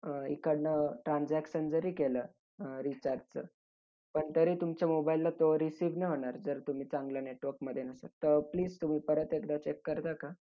अं इकडनं transaction जरी केलं अं recharge चं पण तरी तुमच्या mobile ला तो receive नाही होणार, जर तुम्ही चांगल्या network मध्ये नसाल. तर please तुम्ही परत एकदा check करता का?